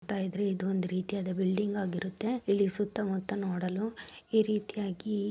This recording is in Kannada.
ನೋಡ್ತಾ ಇದ್ರೆ ಇದು ಒಂದು ರೀತಿಯಾದ ಬಿಲ್ಡಿಂಗ್ ಆಗಿರುತ್ತೆ ಇಲ್ಲಿ ಸುತ್ತ ಮುತ್ತ ನೋಡಲು ಈ ರೀತಿಯಾಗಿ --